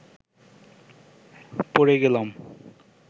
পড়ে গেলাম